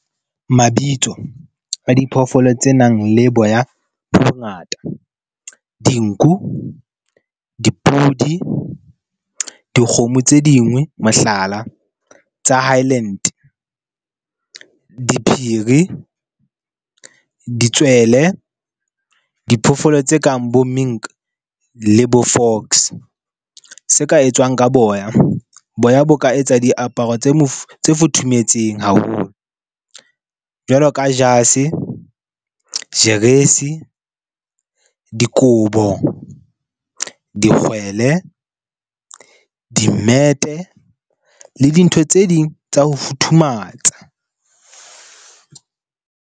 Mabitso a diphoofolo tse nang le boya bo bongata dinku, dipudi, dikgomo tse dingwe mohlala, tsa Highland. Diphiri, ditswele, diphoofolo tse kang bo mink le bo fox. Se ka etswang ka boya. Boya bo ka etsa diaparo tse tse futhumetseng haholo jwalo ka jase, jeresi, dikobo, dikgwele, dimmete le dintho tse ding tsa ho futhumatsa.